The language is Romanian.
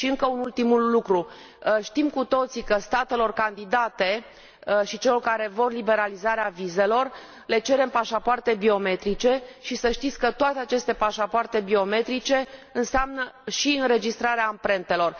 Și încă un ultim lucru știm cu toții că statelor candidate și celor care vor liberalizarea vizelor le cerem pașapoarte biometrice și să știți că toate aceste pașapoarte biometrice înseamnă și înregistrarea amprentelor.